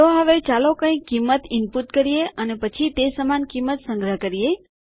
તો હવે ચાલો કંઈક કિંમત ઈનપુટ કરીએ અને પછી તે સમાન કિંમત સંગ્રહ કરીએ